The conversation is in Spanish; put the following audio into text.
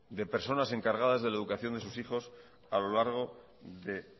de personas encargadas de la educación de sus hijos a lo largo de